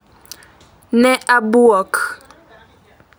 Ne abwok